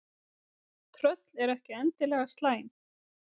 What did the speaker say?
Tröll eru ekki endilega slæm.